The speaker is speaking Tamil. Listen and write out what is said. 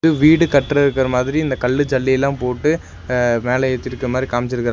வீடு கட்ற இருக்கற மாரி இந்தக் கல்லு ஜல்லி எல்லா போட்டு அ மேல ஏத்திருக்க மாரி காம்ச்சிருக்றா--